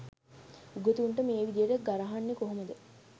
උගතුන්ට මේ විදියට ගරහන්නේ කොහොමද